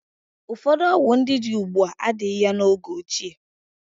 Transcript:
Ụfọdụ ọgwụ ndị dị ugbu a adịghị ya n'oge ochie.